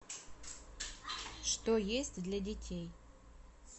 что есть для детей